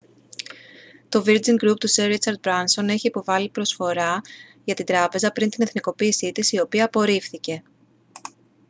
το virgin group του σερ ρίτσαρντ μπράνσον είχε υποβάλει προσφορά για την τράπεζα πριν την εθνικοποίηση της η οποία απορρίφθηκε